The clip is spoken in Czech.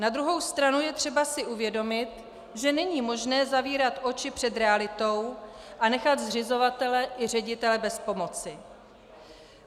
Na druhou stranu je třeba si uvědomit, že není možné zavírat oči před realitou a nechat zřizovatele i ředitele bez pomoci.